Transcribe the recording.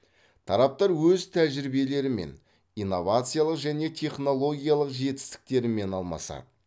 тараптар өз тәжірибелерімен инновациялық және технологиялық жетістіктерімен алмасады